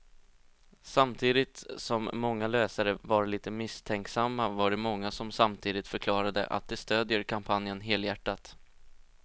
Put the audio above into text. Samtidigt som många läsare var lite misstänksamma var det många som samtidigt förklarade att de stödjer kampanjen helhjärtat.